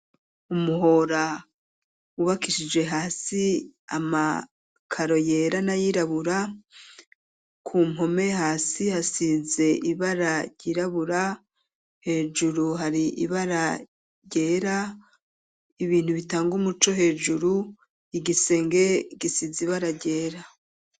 Umuhora wubakishije hasi amakaro yera na yirabura ku mpome hasi hasize ibara ryirabura hejuru hari ibara ryera ibintu bitanga umuco hejuru igisenge gisize ibara ryera.